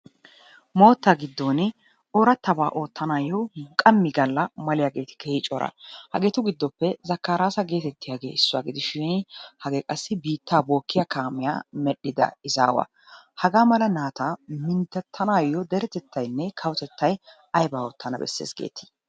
Moottaa giddon oorattabaa oottanaayyo qammi Galla maliyageeti keehi cora hageetu gidoppe zakariyasa geetettiyage issuwa gidishin hagee qassi biittaa bookkiya kaamiya medhdhida izaawaa. Hagaa mala naata minttettanaayyo deretettayinne kawotettaa ayibaa oottana besses geeti?